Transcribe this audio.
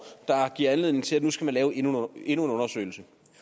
der giver anledning til at nu skal man lave endnu en undersøgelse